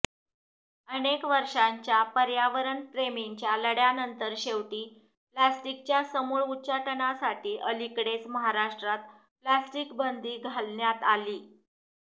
अनेक वर्षांच्या पर्यावरणप्रेमींच्या लढय़ानंतर शेवटी प्लास्टिकच्या समूळ उच्चाटनासाठी अलीकडेच महाराष्ट्रात प्लास्टिकबंदी घालण्यात आलीय